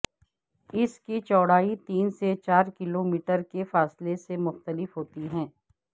اس کی چوڑائی تین سے چار کلومیٹر کے فاصلے سے مختلف ہوتی ہے